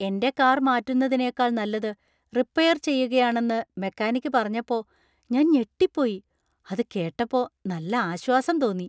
എന്‍റെ കാർ മാറ്റുന്നതിനേക്കാൾ നല്ലത് റിപ്പയർ ചെയ്യുകയാണെന്ന് മെക്കാനിക് പറഞ്ഞപ്പോ ഞാൻ ഞെട്ടിപ്പോയി. അത് കേട്ടപ്പോ നല്ല ആശ്വാസം തോന്നി.